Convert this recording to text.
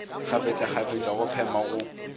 kgafetša kgafetša go phema go